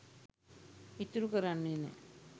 ඉතුරු කරන්නේ නෑ